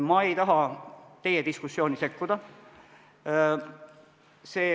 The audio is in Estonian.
Ma ei taha teie diskussiooni sekkuda.